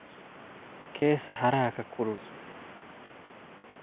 kee saxaraha ka kulul